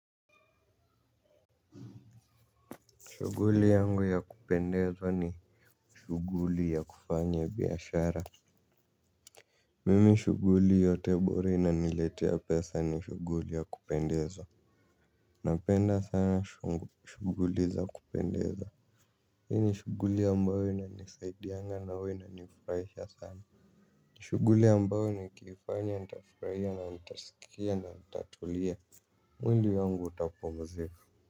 Shuguli yangu ya kupendeza ni shuguli ya kufanya biashara mimi shuguli yote bora i na niletea pesa ni shuguli ya kupendeza napenda sana shu shuguli za kupendeza hii ni shuguli ambayo ina nisaidianga na uwa ina nifraisha sana shuguli ambayo nikii fanya nitafraia na nitasikia na natatulia mwili wangu utapumzika.